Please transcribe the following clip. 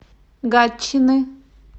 гатчины